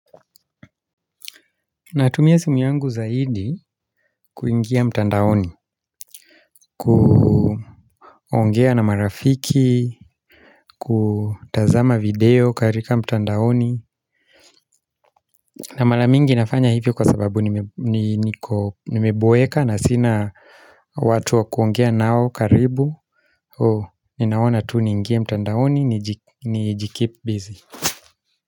Natumia simu yangu zaidi kuingia mtandaoni ku ongea na marafiki kutazama video katika mtandaoni na mara mingi nafanya hivyo kwa sababu nime ni niko nimeboeka na sina watu wa kuongea nao karibu so ninaona tu niingie mtandaoni niji niji keep busy.